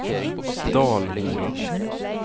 Dalholen